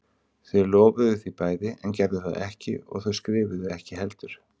Þau lofuðu því bæði en gerðu það ekki og þau skrifuðu ekki heldur.